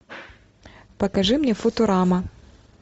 покажи мне футурама